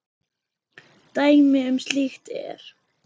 Dæmi um slíkt er